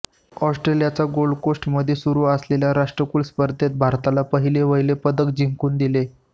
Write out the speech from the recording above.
ऑस्ट्रेलियाच्या गोल्ड कोस्टमध्ये सुरु असलेल्या राष्ट्रकुल स्पर्धेत भारताला पहिलेवहिले पदक जिंकूम दिले